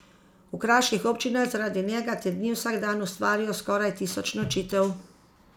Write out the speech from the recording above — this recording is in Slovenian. V kraških občinah zaradi njega te dni vsak dan ustvarijo skoraj tisoč nočitev.